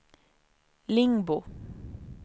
Lingbo